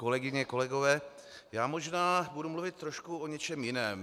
Kolegyně, kolegové, já možná budu mluvit trošku o něčem jiném.